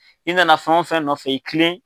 I nana fɛn o fɛn nɔfɛ i kilen.